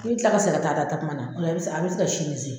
N b'i kila ka segin ka taa da takuma na ola e be se a bi se ka sinin se